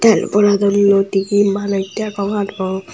tel boradondoide he manuj degong aro.